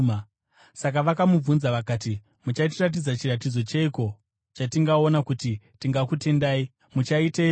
Saka vakamubvunza vakati, “Muchatiratidza chiratidzo cheiko chatingaona kuti tigokutendai? Muchaiteiko?